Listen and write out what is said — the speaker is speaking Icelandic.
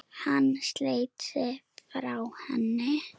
Hann sleit sig frá henni.